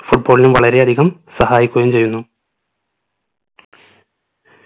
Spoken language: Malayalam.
football ന് വളരെയധികം സഹായിക്കുകയും ചെയ്യുന്നു